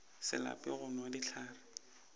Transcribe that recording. se lape go nwa dihlare